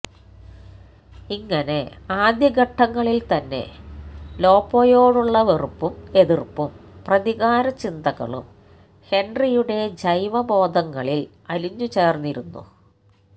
ഇങ്ങനെ ആദ്യഘട്ടങ്ങളില് തന്നെ ലോപ്പോയോടുള്ള വെറുപ്പും എതിര്പ്പും പ്രതികാര ചിന്തകളും ഹെന്ട്രിയുടെ ജൈവബോധങ്ങളില് അലിഞ്ഞുചേര്ന്നിരുന്നു